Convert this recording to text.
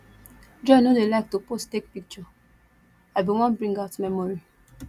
joy no dey like to pose take picture i bin wan bring out memory